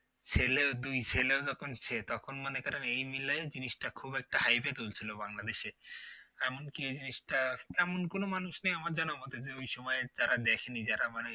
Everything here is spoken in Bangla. ছেলে ও দুই ছেলেও যখন তখন মনে করেন এই মিলে জিনিসটা খুব একটা hype এ তুলছিল বাংলাদেশে এমনকি এই জিনিসটা এমন কোন মানুষ নেই আমার জানা ওই সময়ে তারা দেখেনি যারা মানে